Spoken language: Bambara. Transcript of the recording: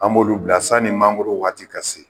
An b'olu bila sanni mangoro waati ka se.